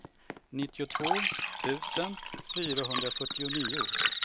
nittiotvå tusen fyrahundrafyrtionio